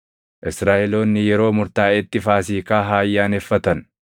“Israaʼeloonni yeroo murtaaʼetti Faasiikaa haa ayyaaneffatan.